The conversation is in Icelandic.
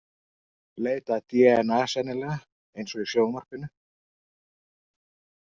Leita að dna sennilega, eins og í sjónvarpinu.